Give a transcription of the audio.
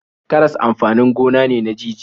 Karas amfanin gona ne na jijiya.